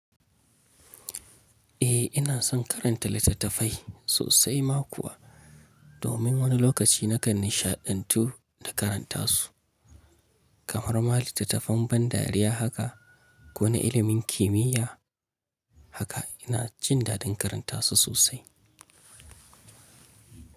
Eh ina son karanta littattafai sosai ma kuwa domin wani lokaci nakan nishaɗantu da karanta su kamar ma littattafan ban dariya haka ko na ilimin kimiyya haka ina jin dadin karanta su sosai.